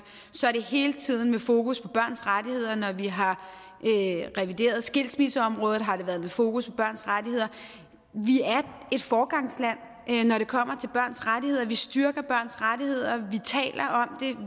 har det hele tiden været med fokus på børns rettigheder når vi har revideret skilsmisseområdet har det været med fokus på børns rettigheder vi er et foregangsland når det kommer til børns rettigheder vi styrker børns rettigheder